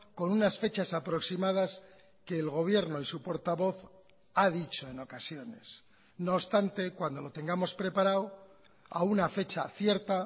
con unas fechas aproximadas que el gobierno y su portavoz ha dicho en ocasiones no obstante cuando lo tengamos preparado a una fecha cierta